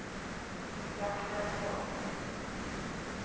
Raknesvåg